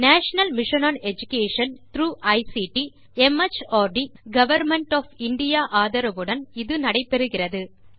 national mission on education through ICT mart government of India ஆதரவுடன் இது நடைபெறுகிறது